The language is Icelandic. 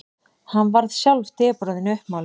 Hann varð sjálf depurðin uppmáluð.